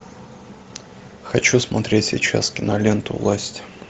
хочу смотреть сейчас киноленту власть